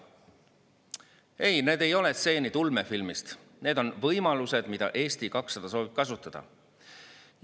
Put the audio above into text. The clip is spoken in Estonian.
Ei, need ei ole stseenid ulmefilmist, need on võimalused, mida Eesti 200 soovib kasutada.